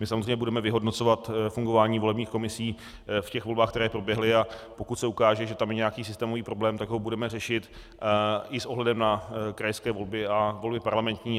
My samozřejmě budeme vyhodnocovat fungování volebních komisí v těch volbách, které proběhly, a pokud se ukáže, že tam je nějaký systémový problém, tak ho budeme řešit i s ohledem na krajské volby a volby parlamentní.